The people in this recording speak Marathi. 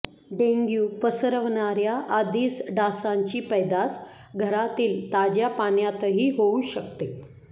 डेंग्यु पसरवणाऱ्या अदिस डासांची पैदास घरातील ताज्या पाण्यातही होऊ शकते